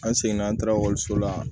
An seginna an taara ekɔliso la